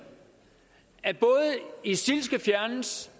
at isil skal fjernes